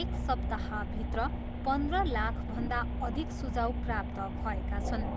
एक सप्ताहभित्र पन्ध्र लाखभन्दा अधिक सुझाउ प्राप्त भएका छन्।